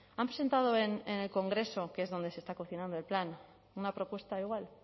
han presentado en el congreso que es donde se está cocinando el plan una propuesta igual